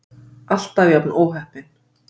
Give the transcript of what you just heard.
Alltaf jafn óheppin!